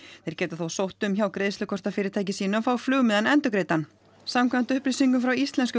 þeir geta þó sótt um hjá greiðslukortafyrirtæki sínu að fá flugmiðann endurgreiddan samkvæmt upplýsingum frá íslensku